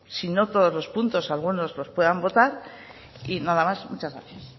si no todos los puntos algunos los puedan votar y nada más muchas gracias